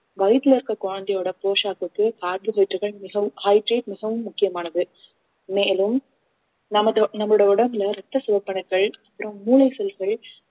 வயித்துல இருக்க குழந்தையோட போஷாக்கு மிகவும் hydrate மிகவும் முக்கியமானது மேலும் நமது நம்முடைய உடம்புல ரத்த சிவப்பணுக்கள் அப்புறம் மூளை செல்கள்